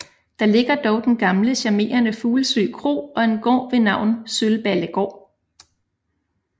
Der ligger dog den gamle charmerende Fuglsø Kro og en gård ved navn Sølballegaard